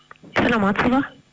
саламатсыз ба